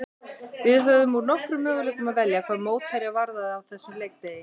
Við höfðum úr nokkrum möguleikum að velja hvað mótherja varðaði á þessum leikdegi.